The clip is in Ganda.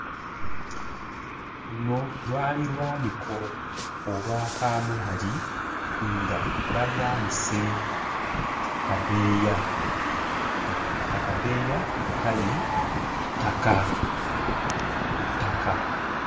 Luno lwali lwaniko olwa kaamulali nga balwanise ku kadeeya ng'akadeeya kali ttaka ku ttaka.